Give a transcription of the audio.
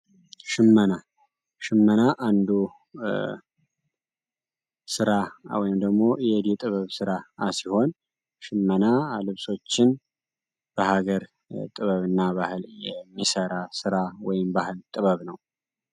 ሽመና ሽመና አንዱ ሥራ ወይም ደግሞ እደ ጥበብ ሥራ ሲሆን፤ ሽመና አልብሶችን በሀገር ጥበብ እና ባህል የሚሠራ ሥራ ወይም ባህል ጥበብ ነው።